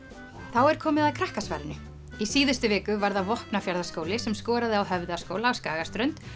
þá er komið að krakkasvarinu í síðustu viku var það Vopnafjarðarskóli sem skoraði á Höfðaskóla á Skagaströnd